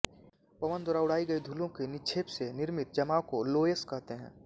पवन द्वारा उडाई गई धूलो के निक्षेप से निर्मित जमाव को लोयस कहते हैं